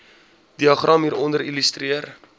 diagram hieronder illustreer